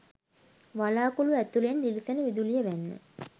වළාකුළු ඇතුළෙන් දිලිසෙන විදුලිය වැන්න.